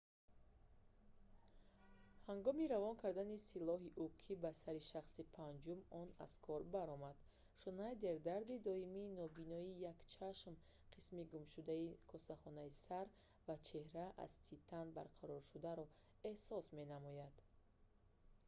ҳангоми равон кардани силоҳи уки ба сари шахси панҷум он аз кор баромад шнайдер дарди доимӣ нобиноии як чашм қисми гумшудаи косахонаи сар ва чеҳраи аз титан барқароршударо эҳсос менамояд